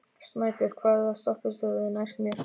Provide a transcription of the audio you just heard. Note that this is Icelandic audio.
Snæbjört, hvaða stoppistöð er næst mér?